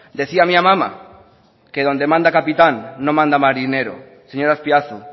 decía mi amama que donde manda capitán no manda marinero señor azpiazu